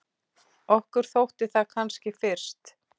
Okkur þótti það kannski fyrst.